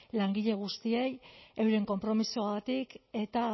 langile guztiei euren konpromisoagatik eta